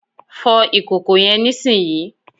Fo ìkòkò yen nísìnyí